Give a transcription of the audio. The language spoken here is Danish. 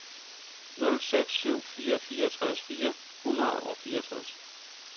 nul seks syv fire fireogtres fire hundrede og fireogtres